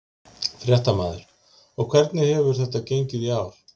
Fréttamaður: Og hvernig hefur þetta gengið í ár?